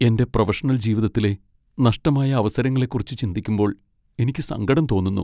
എന്റെ പ്രൊഫഷണൽ ജീവിതത്തിലെ നഷ്ടമായ അവസരങ്ങളെക്കുറിച്ച് ചിന്തിക്കുമ്പോൾ എനിക്ക് സങ്കടം തോന്നുന്നു.